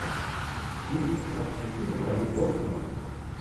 фильм с актрисой натали портман